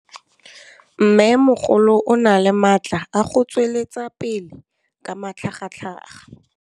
Mmêmogolo o na le matla a go tswelela pele ka matlhagatlhaga.